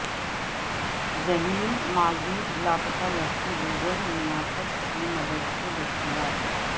ذہنی معذور لاپتہ لڑکی گوگل میاپس کی مدد سے دستیاب